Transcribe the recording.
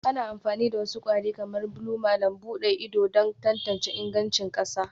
Ana amfani da wasu kwari kamar blue malam buɗe ido don tantance ingancin ƙasa